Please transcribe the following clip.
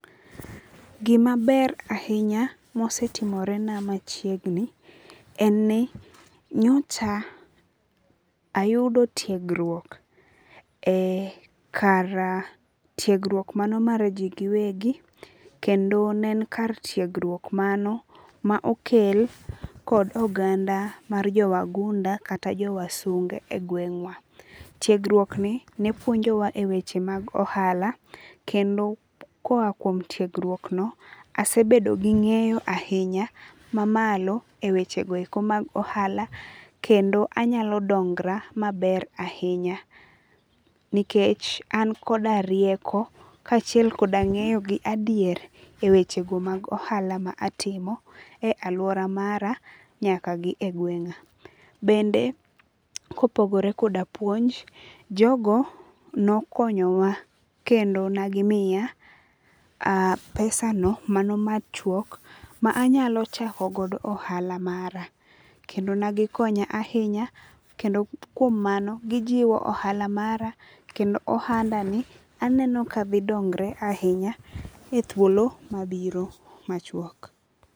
Gima ber ahinya mosetimore na machiegni en ni nyocha ayudo tiegruok e kar tiegruok mano mar ji giwegi. Kendo ne en kar tiegruok mano ma okel kod oganda mar jo wagunda kata jo wasunge e gweng'wa. Tiegruok ni ne puonjowa e weche mag ohala kendo koa kuom tuegruok no asebedo gi ng'eyo ahinya mamalo e weche go eko mag ohala. Kendo anyalo dongra maber ahinya. Nikech an koda rieko ka achiel kod ng'eyo gi adier e weche go mag ohala ma atimo e aluora mara nyaka gi egwenga. Bende kopogore koda puonj, jogo nokonyo wa kendo ne gimiya pesano mano machuok ma anyalo chako godo ohala mara. Kendo ne gikonya ahinya. Kendo kuom mano gijiwo ohala mara kendo ohanda ni aneno ka dhi dongre ahinya e thuolo mabiro machuok.